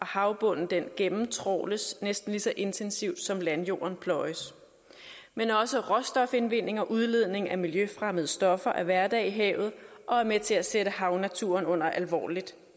havbunden gennemtrawles næsten lige så intensivt som landjorden pløjes men også råstofindvinding og udledning af miljøfremmede stoffer er hverdag i havet og er med til at sætte havnaturen under alvorligt